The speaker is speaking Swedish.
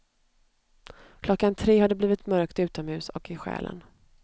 Klockan tre har det blivit mörkt utomhus och i själen.